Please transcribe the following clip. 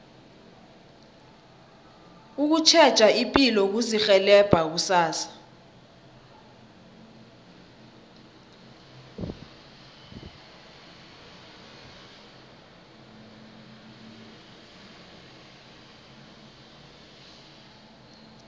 ukutjheja ipilo kuzirhelebha kusasa